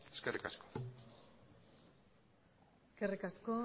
eskerrik asko eskerrik asko